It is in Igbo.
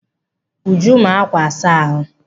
Uju maa ákwà asa ahụ.